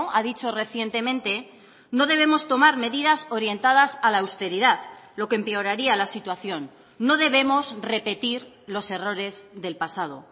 ha dicho recientemente no debemos tomar medidas orientadas a la austeridad lo que empeoraría la situación no debemos repetir los errores del pasado